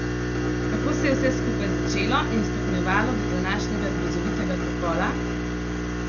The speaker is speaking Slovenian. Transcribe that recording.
Kako se je vse skupaj začelo in stopnjevalo do današnjega grozovitega pokola?